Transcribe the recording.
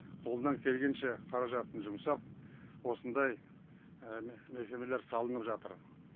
қолынан келгенше қаражатын жұмсап осындай мекемелер салынып жатыр